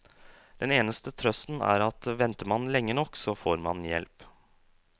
Den eneste trøsten er at venter man lenge nok, så får man hjelp.